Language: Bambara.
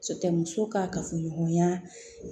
Cɛ muso ka kafoɲɔgɔnya